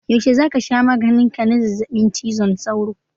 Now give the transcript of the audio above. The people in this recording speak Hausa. Yaushe za ka sha maganin ka na zazzabin cizon sauro?